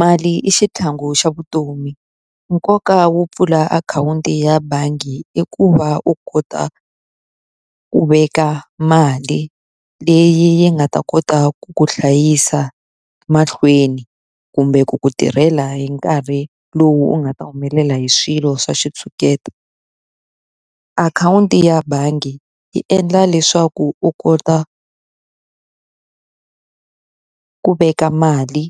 Mali i xitlhangu xa vutomi. Nkoka wo pfula akhawunti ya bangi i ku va u kota ku veka mali leyi yi nga ta kota ku ku hlayisa mahlweni kumbe ku ku tirhela hi nkarhi lowu u nga ta humelela hi swilo swa xitshuketa. Akhawunti ya bangi yi endla leswaku u kota ku veka mali